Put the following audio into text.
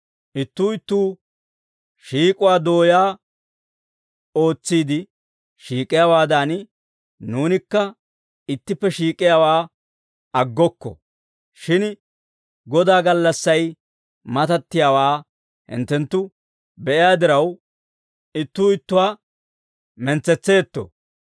Ittuu ittuu shiik'uwaa dooyaa ootsiide shiik'iyaawaadan, nuunikka ittippe shiik'iyaawaa aggokko; shin Godaa gallassay matattiyaawaa hinttenttu be'iyaa diraw, ittuu ittuwaa mentsetseetto.